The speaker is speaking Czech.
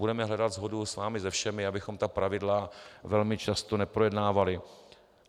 Budeme hledat shodu s vámi se všemi, abychom ta pravidla velmi často neprojednávali.